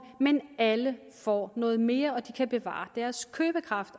men alle får noget mere og de kan bevare deres købekraft